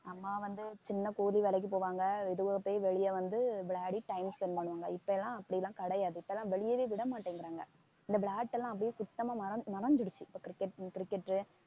அம்மா வந்து சின்ன கூலி வேலைக்கு போவாங்க வெளியே வந்து விளையாடி time spend பண்ணுவாங்க இப்ப எல்லாம் அப்படி எல்லாம் கிடையாது இப்ப எல்லாம் வெளியவே விட மாட்டேங்கிறாங்க இந்த விளையாட்டெல்லாம் அப்படியே சுத்தமா மறந்~ மறந்திருச்சு இப்ப cricket, crticket உ